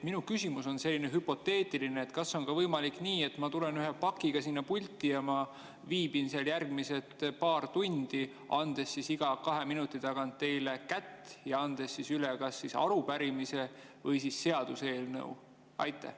Minu küsimus on hüpoteetiline: kas on võimalik ka nii, et ma tulen ühe pakiga sinna pulti ja viibin seal järgmised paar tundi, andes iga kahe minuti tagant teile kätt ja andes üle kas arupärimise või seaduseelnõu?